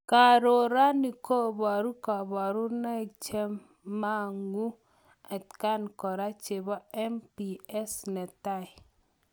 Kaaroranii koparuu kabarunaik chemanguu atkaan koraa chepoo MPS netai.